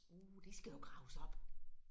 Uh det skal jo graves op